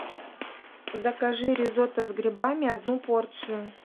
закажи ризотто с грибами одну порцию